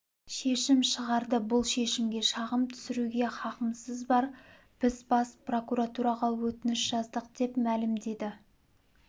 шешім шығарды бұл шешімге шағым түсіруге хақымыз бар біз бас прокуратураға өтініш жаздық деп мәлімдеді